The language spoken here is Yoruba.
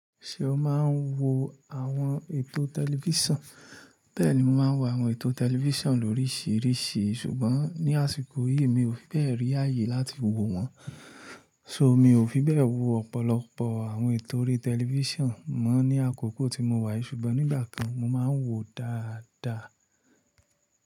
Ṣé o máa ń wo àwọn ètò tẹlifísàn? Bẹ́ẹ̀ni, mo máa ń wo àwọn ètò tẹlifísàn lórísìírísìí, ṣùgbọ́n ní àsìkò yìí mi ò fi bẹ́ẹ̀ rí ààyè láti wo wọn. So, mi ò fi bẹ́ẹ̀ wo ọ̀pọ̀lọpọ̀ àwọn ètò orí tẹlifísàn mọ́ ní àkókò tí mo wà yìí ṣùgbọ́n nígbà kan mo máa ń wo dáadáa.